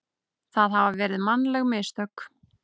það hafi verið mannleg mistök.